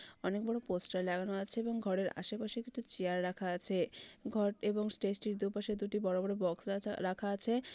অনেক বড় পোস্টার লাগানো আছে এবং ঘরের আশেপাশে কিছু চেয়ার রাখা আছে ঘর এবং স্টেজ এর দুপাশের দুটি বড় বড় বক্স রা রাখা আছে।